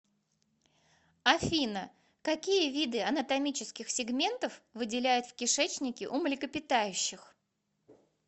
афина какие виды анатомических сегментов выделяют в кишечнике у млекопитающих